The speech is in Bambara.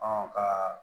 ka